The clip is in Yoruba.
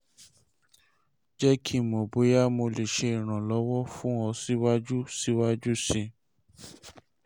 jẹ ki n mọ boya mo le ṣe iranlọwọ fun ọ siwaju siwaju sii